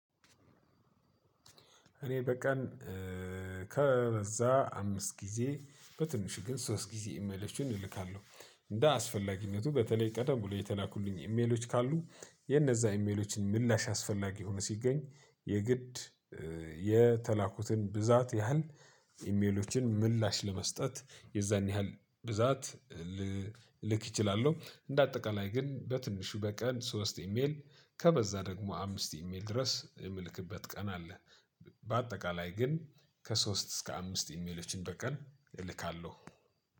እኔ በቀን ከበዛ አምስት ጊዜ በትንሹ ግን ሶስት ጊዜ ኢሜሎችን እልካለሁ። እንደ አስፈላጊነቱ በተለይ ቀደም ብሎ የተላኩልኝ ኢሜሎች ካሉ የነዛ ኢሜሎችን ምላሽ አስፈላጊ ሆኖ ሲገኝ የግድ የተላኩትን ብዛት ያህል ኢሜሎችን ምላሽ ለመስጠት የዛን ያህል ብዛት ልልክ እችላለሁ። እንደ አጠቃላይ ግን በትንሹ በቀን ሶስት ኢሜል ከበዛ ደግሞ አምስት ኢሜል ድረስ የምልክበት ቀን አለ። በአጠቃላይ ግን ከሶስት እስከ አምስት ኢሜሎችን በቀን እልካለሁ።